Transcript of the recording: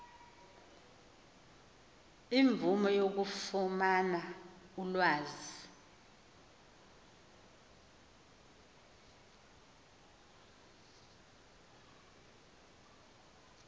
imvume yokufumana ulwazi